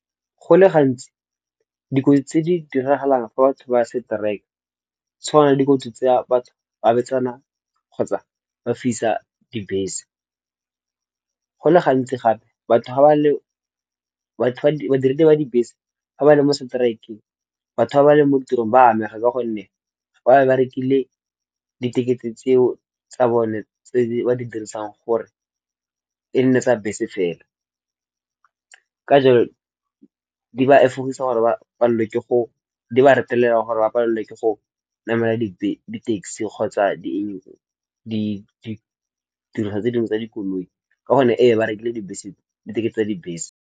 Go le gantsi dikotsi tse di diragalang fa batho ba seteraeke tshwana le dikotsi tsa batho ba betsana kgotsa ba fisa dibese. Go le gantsi gape batho ga ba le badiri ba dibese ga ba le mo seteraekeng batho ba ba leng mo tirong ba amega ka gonne ba be ba rekile di-ticket-e tseo tsa bone tse ba di dirisang gore e nne tsa bese fela. Ka jalo, di ba retelelwa gore ba palwe ke go namela di taxi kgotsa ditiriso tse dingwe tsa dikoloi. Ka gonne ee ba rekile di-ticket-e tsa dibese.